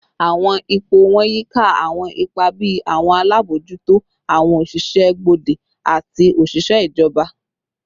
Awọn ipo wọn yika awọn ipa bii awọn alabojuto, awọn oṣiṣẹ gbode, ati oṣiṣẹ ijọba